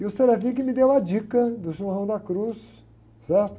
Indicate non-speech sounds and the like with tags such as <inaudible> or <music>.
E o <unintelligible> quem me deu a dica do São João da Cruz, certo?